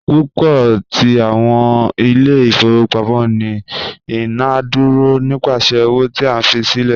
Pupọ ti awọn ile-ifowopamọ ni idaduro nipasẹ owo ti a fi silẹ